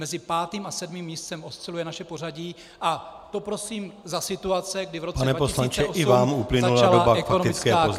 Mezi pátým a sedmým místem osciluje naše pořadí a to prosím za situace, kdy v roce 2008 začala ekonomická krize.